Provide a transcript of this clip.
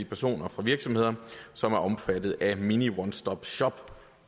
personer for virksomheder som er omfattet af mini one stop shop